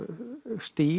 stíl